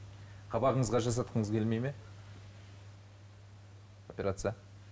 қабағыңызға жасатқыңыз келмейді ме операция